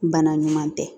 Bana ɲuman tɛ